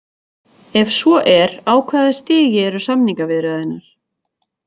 Ef svo er á hvaða stigi eru samningaviðræðurnar?